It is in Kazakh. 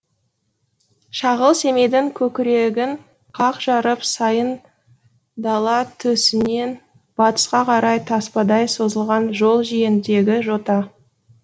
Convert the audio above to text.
шағыл семейдің көкірегін қақ жарып сайын дала төсінен батысқа қарай таспадай созылған жол жиегіндегі жота